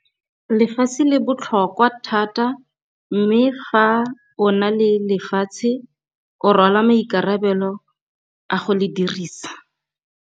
Lefatshe le botlhokwatlhokwa thata, mme fa o na le lefatshe, o rwala maikarabelo a go le dirisa.